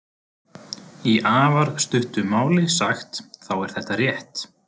Í afar stuttu máli sagt þá er þetta rétt.